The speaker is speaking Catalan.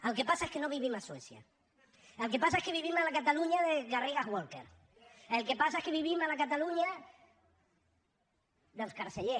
el que passa és que no vivim a suècia el que passa és que vivim a la catalunya de garrigues walker el que passa és que vivim a la catalunya dels carceller